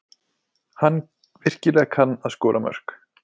Hann virkilega kann að skora mörk.